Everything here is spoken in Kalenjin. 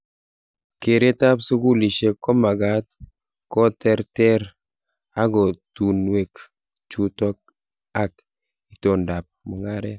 Keret ab sukulishek komakat koterter ako tungwek chutok ang itondo ab mungaret.